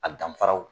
A danfaraw